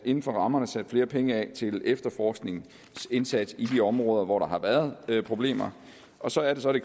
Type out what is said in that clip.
inden for rammerne sat flere penge af til efterforskningsindsats i de områder hvor der har været problemer og så er det så det